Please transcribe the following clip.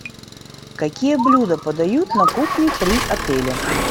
какие блюда подают на кухне при отеле